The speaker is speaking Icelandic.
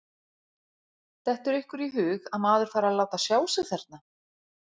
Dettur ykkur í hug að maður fari að láta sjá sig þarna?